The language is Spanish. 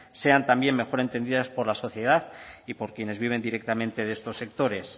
sean también mejor entendidas por la sociedad y por quienes viven directamente de estos sectores